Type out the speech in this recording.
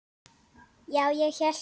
Já, ég hélt.